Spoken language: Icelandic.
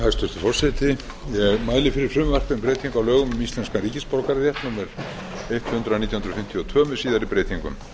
hæstvirtur forseti ég mæli fyrir frumvarpi um breytingu á lögum um íslenskan ríkisborgararétt númer hundrað nítján hundruð fimmtíu og tvö með síðari breytingum